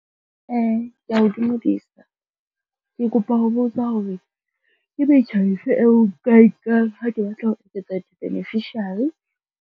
Kea o dumedisa. Ke kopa ho botsa hore ke metjha e feng eo nka e nkang ha ke batla ho eketsa di-beneficiary.